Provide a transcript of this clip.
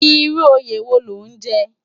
Irú óyé wó ló n jè?